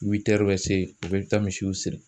bɛ se o bɛɛ bɛ taa misiw siri.